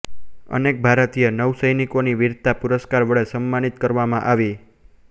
અનેક ભારતીય નૌસેનિકોને વીરતા પુરસ્કાર વડે સન્માનિત કરવામાં આવી